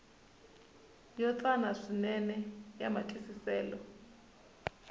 yo tsana swinene ya matwisiselo